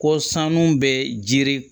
Ko sanu bɛ jiri